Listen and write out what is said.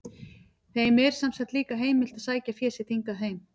Þeim er sem sagt líka heimilt að sækja sitt fé hingað heim.